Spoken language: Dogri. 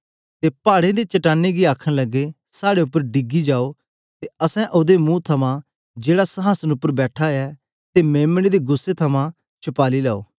ते पाड़ें ते चट्टानें गी आखन लगे साहडे उपर डिगी जाओ ते असैं ओदे मुंह थमां जेहड़ा संहासन उपर बैठा ऐ ते मेम्ने दे गुस्सै थमां छपाली लैओ